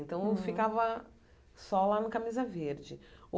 Então, eu ficava só lá no camisa verde.